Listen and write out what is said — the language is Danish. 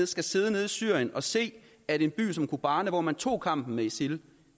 skal sidde nede i syrien og se at en by som kobane hvor man tog kampen med isil